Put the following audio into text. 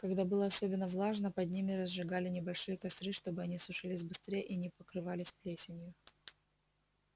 когда было особенно влажно под ними разжигали небольшие костры чтобы они сушились быстрее и не покрывались плесенью